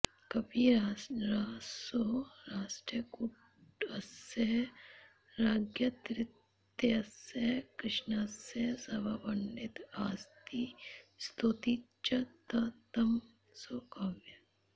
कविरसौ राष्ट्रकूटस्य राज्ञस्तृतीयस्य कृष्णस्य सभापण्डित आसीत् स्तौति च स तं स्वकाव्ये